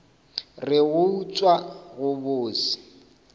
re go utswa go bose